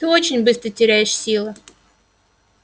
ты очень быстро теряешь силы